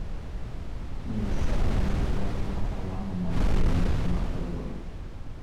Nyisa ane kwan mar alama mag penj ma kawuono